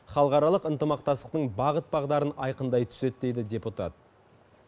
халықаралық ынтымақтастықтың бағыт бағдарын айқындай түседі дейді депутат